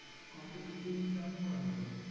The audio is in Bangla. Competitive exam ও করাতো।